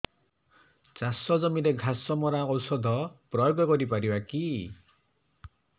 ଚାଷ ଜମିରେ ଘାସ ମରା ଔଷଧ ପ୍ରୟୋଗ କରି ପାରିବା କି